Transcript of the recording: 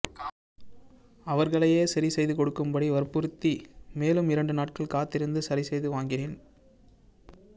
அவர்களையே சரி செய்து கொடுக்கும்படி வற்புறுத்தி மேலும் இரண்டு நாட்கள் காத்திருந்து சரி செய்து வாங்கினேன்